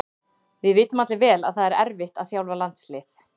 Við vitum allir vel að það erfitt að þjálfa landslið.